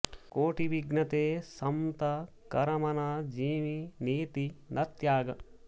कोटि बिघ्न ते संत कर मन जिमि नीति न त्याग